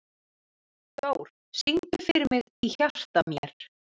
Dór, syngdu fyrir mig „Í hjarta mér“.